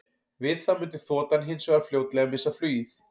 Við það mundi þotan hins vegar fljótlega missa flugið.